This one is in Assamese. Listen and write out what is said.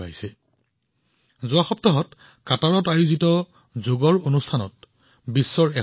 এতিয়াই আপুনি নিশ্চয় দেখিছে যে যোৱা সপ্তাহত কাটাৰত এটা যোগ অনুষ্ঠান অনুষ্ঠিত হৈছিল